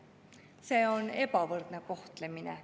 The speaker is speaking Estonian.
See on ebavõrdne kohtlemine.